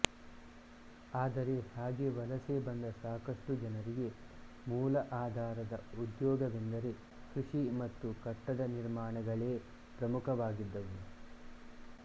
ಆದರೆ ಹಾಗೆ ವಲಸೆ ಬಂದ ಸಾಕಷ್ಟು ಜನರಿಗೆ ಮೂಲ ಆಧಾರದ ಉದ್ಯೋಗವೆಂದರೆ ಕೃಷಿ ಮತ್ತು ಕಟ್ಟಡ ನಿರ್ಮಾಣಗಳೇ ಪ್ರಮುಖವಾಗಿದ್ದವು